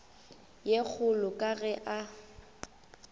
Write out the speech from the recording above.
ye kgolo ka ge a